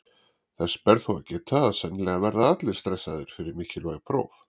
Þess ber þó að geta að sennilega verða allir stressaðir fyrir mikilvæg próf.